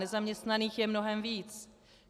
Nezaměstnaných je mnohem víc.